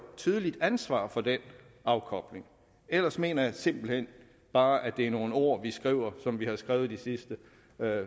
tydeligt ansvar for den afkobling ellers mener jeg simpelt hen bare at det er nogle ord vi skriver og som vi har skrevet de sidste